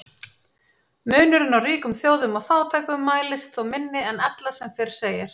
Munurinn á ríkum þjóðum og fátækum mælist þó minni en ella sem fyrr segir.